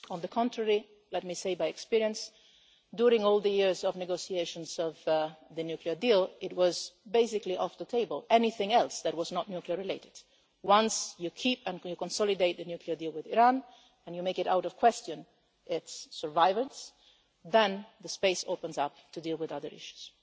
On the contrary, let me say by experience that during all the years of negotiations of the nuclear deal anything else that was not nuclear-related was basically off the table. Once you keep and consolidate the nuclear deal with Iran and make its survival beyond question, then the space opens up to deal with other issues.